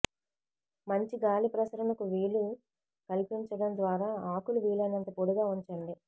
మంచి గాలి ప్రసరణకు వీలు కల్పించడం ద్వారా ఆకులు వీలైనంత పొడిగా ఉంచండి